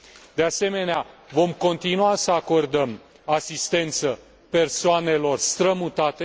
de asemenea, vom continua să acordăm asistență persoanelor strămutate